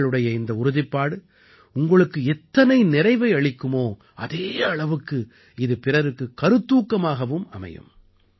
உங்களுடைய இந்த உறுதிப்பாடு உங்களுக்கு எத்தனை நிறைவை அளிக்குமோ அதே அளவுக்கு இது பிறகுக்குக் கருத்தூக்கமாகவும் அமையும்